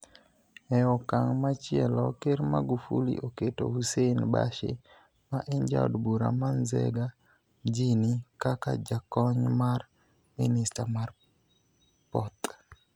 E okang ' machielo, Ker Magufuli oketo Hussein Bashe, ma en Jaod Bura ma Nzega Mjini, kaka Jakony mar Minista mar Poth.